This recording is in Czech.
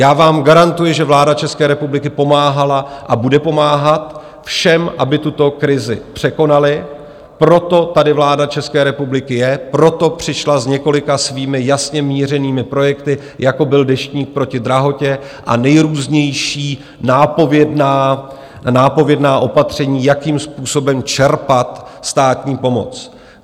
Já vám garantuji, že vláda České republiky pomáhala a bude pomáhat všem, aby tuto krizi překonali, proto tady vláda České republiky je, proto přišla s několika svými jasně mířenými projekty, jako byl Deštník proti drahotě a nejrůznější nápovědná opatření, jakým způsobem čerpat státní pomoc.